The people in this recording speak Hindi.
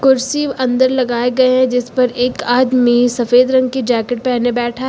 कुर्सी अंदर लगाएं गए हैं जीस पर एक आदमी सफेद रंग की जैकेट पहने बैठा है।